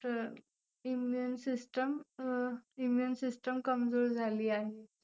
Immune system अं Immune system कमजोर झाली आहे.